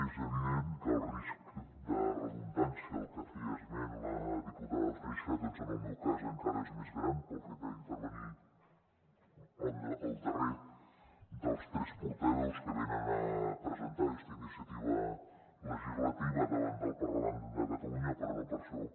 és evident que el risc de redundància del que feia esment la diputada freixa doncs en el meu cas encara és més gran pel fet d’intervenir el darrer dels tres portaveus que venen a presentar aquesta iniciativa legislativa davant del parlament de catalunya però no per això